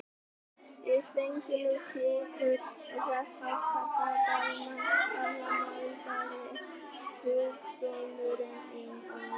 Við fengum nú sykur og þess háttar frá Dalmann gamla maldaði stjúpsonurinn í móinn.